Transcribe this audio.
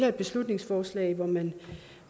et beslutningsforslag hvor man